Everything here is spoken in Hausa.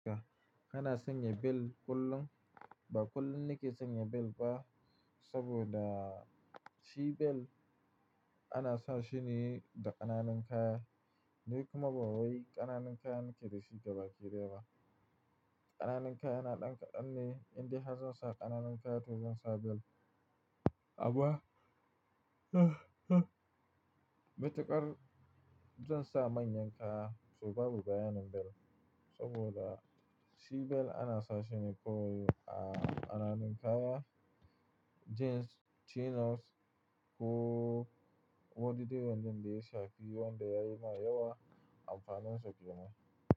Kana sanya bel kullum, ba kullum ne ke sanya bel ba saboda shi bel ana sa shi ne da ƙananan kaya. Ni kuma ba wai ƙananan kaya muke da shi gabaki daya ba. Ƙananan kaya yana ɗan ƙadanne, in dai har zan ƙananan kaya to zan sa bel, abuwa. Mutukar zan sa manyan kaya saboua baya nan bel saboda shi bel ana sa shi ne kowai a ƙananan kaya, jeans, chinos ko wadda ta wandon da ya shafi wanda ya yi ma yawa amfaninsa ki gama.